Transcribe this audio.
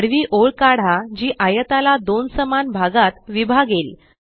आडवी ओळ काढा जी आयताला दोन समान भागात विभागेल